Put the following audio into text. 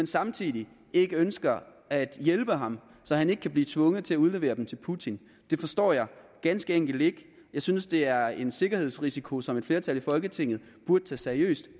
samtidig ikke ønsker at hjælpe ham så han ikke kan blive tvunget til at udlevere dem til putin det forstår jeg ganske enkelt ikke jeg synes det er en sikkerhedsrisiko som et flertal i folketinget burde tage seriøst